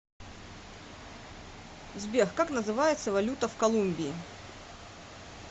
сбер как называется валюта в колумбии